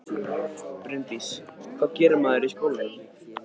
Bryndís: Hvað gerir maður í skólanum?